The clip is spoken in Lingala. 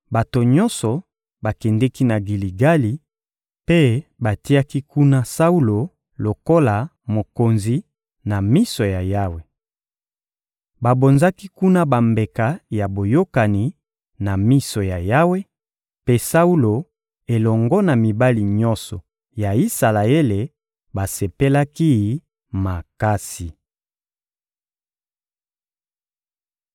Bato nyonso bakendeki na Giligali mpe batiaki kuna Saulo lokola mokonzi, na miso ya Yawe. Babonzaki kuna bambeka ya boyokani na miso ya Yawe, mpe Saulo elongo na mibali nyonso ya Isalaele basepelaki makasi.